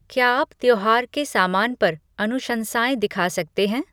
क्या आप त्योहार के सामान पर अनुशंसाएँ दिखा सकते हैं?